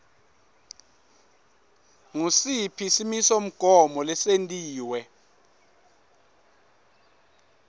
ngusiphi simisomgomo lesentiwe